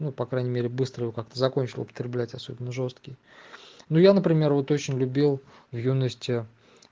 ну по крайней мере быстро его как-то закончил употреблять особенно жёсткий ну я например вот очень любил в юности